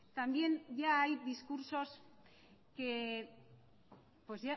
también ya hay discursos que pues